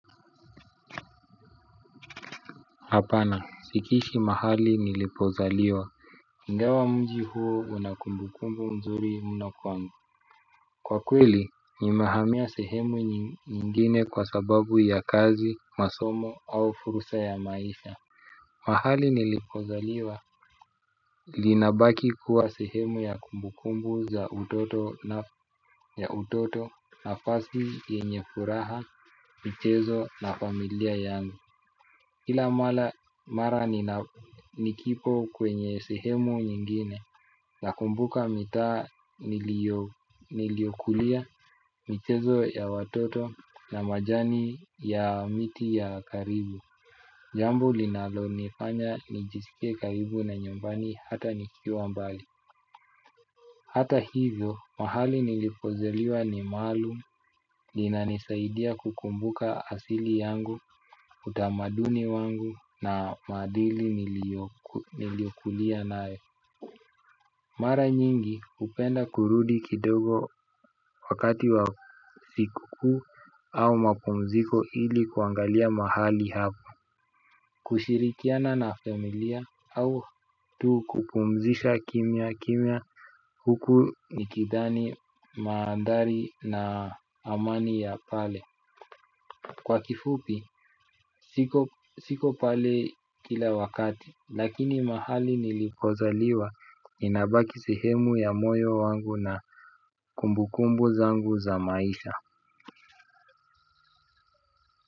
Hapana sikishi mahali nilipozaliwa inga wa mji huo una kumbukumbu nzuri mno kwangu. Kwa kweli nimehamia sehemu nyingine kwa sababu ya kazi masomo au fursa ya maisha. Mahali nilipozaliwa linabaki kuwa sehemu ya kumbukumbu za utoto na ya utoto na fasi yenye furaha michezo na familia yangu kila mara mara ninanikipo kwenye sehemu nyingine na kumbuka mitaa niliokulia michezo ya watoto na majani ya miti ya karibu. Jambu linalo nifanya nijisikie karibu na nyumbani hata nikiwa mbali. Hata hivyo mahali nilipozaliwa ni maluum nina nisaidia kukumbuka asili yangu utamaduni wangu na maadili niliokulia nae. Mara nyingi upenda kurudi kidogo wakati wa sikukuu au mapumziko ili kuangalia mahali hako. Kushirikiana na familia au tu kupumzisha kimya kimya huku ni kidhani maandhari na amani ya pale. Kwa kifupi, siko pale kila wakati. Lakini mahali nilipozaliwa inaba kisehemu ya moyo wangu na kumbukumbu zangu za maisha.